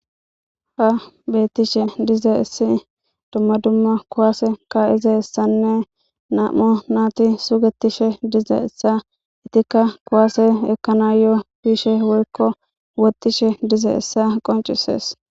Ha beetishe dizayssi dumma dumma kuwaase ka7izayssanne nam7a naati sugetishe dizayssa etttikka kuwaase ekkanaayo bishe woykko woxxishe dizayssa qonccisees.